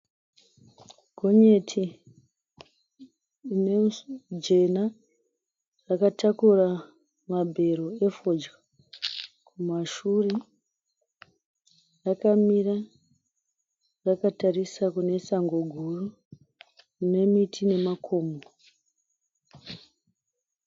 Gonyeti jena rakatakura mabhero efodya. Kumashure rakamira rakatarisa kune sango guru kune miti nemakomo.